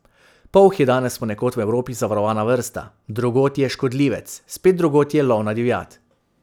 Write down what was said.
Polh je danes ponekod v Evropi zavarovana vrsta, drugod je škodljivec, spet drugod je lovna divjad.